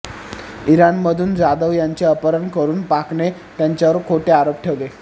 इराणमधून जाधव यांचे अपहरण करून पाकने त्यांच्यावर खोटे आरोप ठेवले